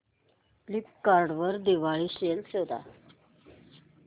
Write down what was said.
Flipkart वर Diwali sale शोधा